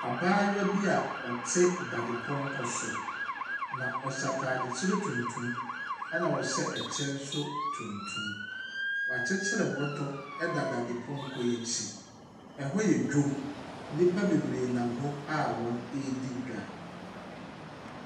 Abaayewa bi a ɔte dadepɔnkɔ so, na ɔhyw ataade tuntum, ɛna ɔhyɛ ɛkyɛ nso tuntum. Wakyekyere bɔbɔ da dadepɔnkɔ yi akyi. Ɛhɔ yɛ dwam. Nnipa bebree nam hɔ a wɔredi dwa.